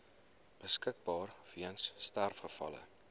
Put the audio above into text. beskikbaar weens sterfgevalle